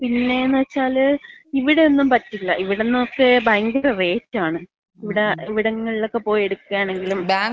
പിന്നെന്ന് വച്ചാല് ഇവിടൊന്നും പറ്റില്ല. ഇവിടന്നക്കെ ഭയങ്കര റേറ്റാണ്. ഇവിട ഇവിടങ്ങളിലൊക്ക പോയി എടുക്കായാണെങ്കിലും.